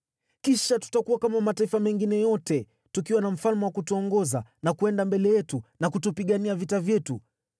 Kisha tutakuwa kama mataifa mengine yote, tukiwa na mfalme wa kutuongoza na kwenda mbele yetu na kutupigania vita vyetu.”